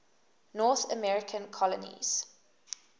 north american colonies